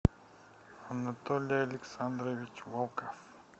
анатолий александрович волков